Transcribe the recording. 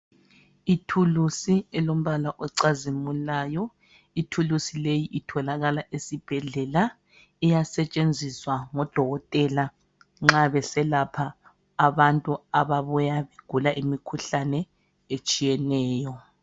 Ithulusi elombala ocazimulayo. Ithulusi leyi itholakala esibhedlela iyasetshenziswa ngodokotela nxa beselapha abantu ababuya begula imikhuhlane etshiyeneyo.